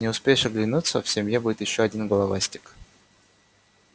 не успеешь оглянуться в семье будет ещё один головастик